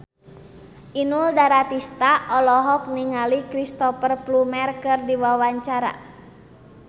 Inul Daratista olohok ningali Cristhoper Plumer keur diwawancara